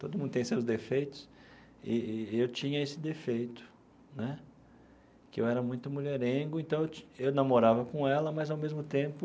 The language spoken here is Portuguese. Todo mundo tem seus defeitos e e eu tinha esse defeito né, que eu era muito mulherengo, então eu ti eu namorava com ela, mas, ao mesmo tempo,